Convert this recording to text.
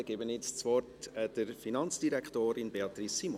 Dann gebe ich das Wort der Finanzdirektorin, Beatrice Simon.